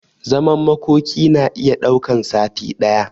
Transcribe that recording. Zaman makoki na iya daukan sati daya